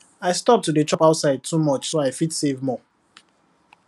i stop to dey chop outside too much so i fit save more